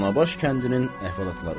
Danabaş kəndinin əhvalatları.